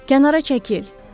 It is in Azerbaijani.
Kənara çəkil!